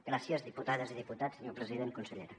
gràcies diputades i diputats senyor president consellera